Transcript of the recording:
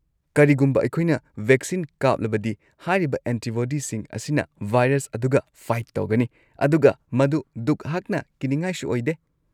ꯀꯔꯤꯒꯨꯝꯕ ꯑꯩꯈꯣꯏꯅ ꯚꯦꯛꯁꯤꯟ ꯀꯥꯞꯂꯕꯗꯤ, ꯍꯥꯏꯔꯤꯕ ꯑꯦꯟꯇꯤꯕꯣꯗꯤꯁꯤꯡ ꯑꯁꯤꯅ ꯚꯥꯏꯔꯁ ꯑꯗꯨꯒ ꯐꯥꯏꯠ ꯇꯧꯒꯅꯤ ꯑꯗꯨꯒ ꯃꯗꯨ ꯗꯨꯛ ꯍꯛꯅ ꯀꯤꯅꯤꯉꯥꯏꯁꯨ ꯑꯣꯏꯗꯦ꯫